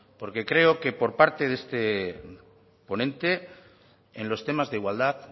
porque creo que por parte de este ponente en los temas de igualdad